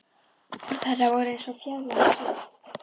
Orð hennar voru eins og fjarlægt suð.